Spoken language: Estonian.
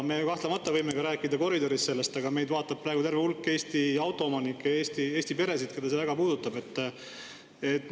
Me võime sellest ka koridoris rääkida, aga meid vaatab praegu terve hulk Eesti autoomanikke, Eesti peresid, keda see väga puudutab.